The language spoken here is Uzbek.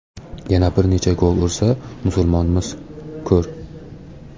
Yana bir necha gol ursa, Musulmonmiz, ko‘r.